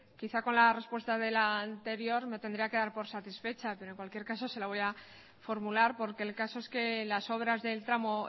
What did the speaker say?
quizá con la respuesta de la anterior me tendría que dar por satisfecha pero en cualquier caso se la voy a formular porque el caso es que las obras del tramo